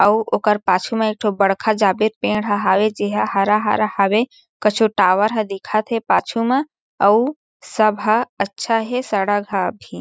अउ ओकर पाछे में एक ठो बड़खा जागे पेड़ हें हावे जे ह हरा-हरा हावे कछु टावर ह दिखत हें पाछू मा अउ सब ह अच्छा हे सड़क हा भी --